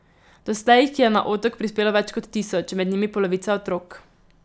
Doslej jih je na Otok prispelo več kot tisoč, med njimi polovica otrok.